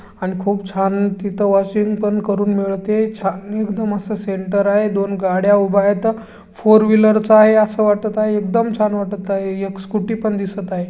अन खूप छान तिथ वॉशिंग पण करून मिळते. छा एकदम असे सेंटर आहे. दोन गाड्या उभे आहेत. फोरव्हील्लरच आहे. अस वाटत आहे. एकदम छान वाटत आहे. एक स्कूटी पण दिसत आहे.